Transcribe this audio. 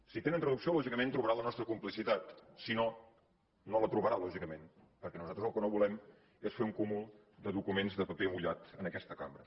si hi tenen traducció lògicament trobaran la nostra complicitat si no no la trobarà lògicament perquè nosaltres el que no volem és fer un cúmul de documents de paper mullat en aquesta cambra